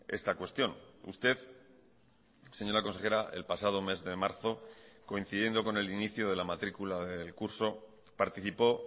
esta cuestión usted señora consejera el pasado mes de marzo coincidiendo con el inicio de la matrícula del curso participó